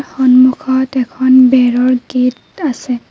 সন্মুখত এখন বেৰৰ গেট আছে।